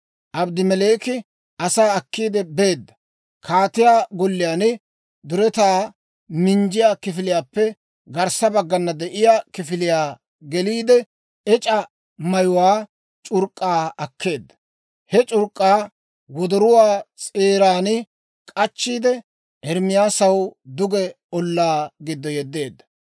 Abedmeleeki asaa akkiide beedda; kaatiyaa golliyaan duretaa minjjiyaa kifiliyaappe garssa baggana de'iyaa kifiliyaa geliide, ec'a mayuwaa c'urk'k'aa akkeedda. He c'urk'k'aa wodoruwaa s'eeran k'achchiide, Ermaasaw duge ollaa giddo yeddeedda.